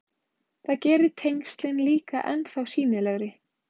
Það gerir tengslin líka ennþá sýnilegri.